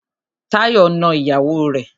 Táyọ̀ na ìyàwó rẹ̀.